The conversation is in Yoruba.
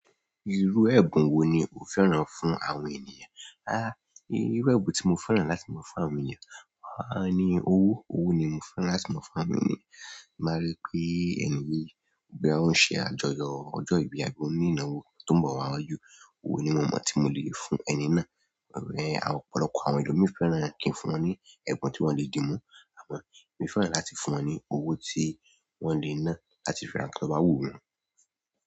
Irú ẹ̀bùn wo ni o fẹ́ràn fún àwọn ènìyàn? A, irú ẹ̀bùn tí mo fẹ́ràn láti ma fún àwọn ènìyàn, àní owó. Owó ni mo fẹ́ràn láti mú fún àwọn ènìyàn. Ti n ba ri pe ẹni yìí boya oun se àjọyọ̀ ojo ibi àbí o ni ìnáwó to n bo wa waju, owo ni mo mo ti mo le fún ẹni náà. Ọ̀pọ̀lọpọ̀ àwọn èlomii fẹ́ràn kí n fún wọn ní ẹ̀bùn tí wọ́n le di mú. Àmọ́, mo fẹ́ràn láti fún wọn ní owó tí wọ́n lè ná láti fi ra nkan tọ bá wu won.